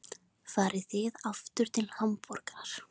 Farið þið aftur til Hamborgar?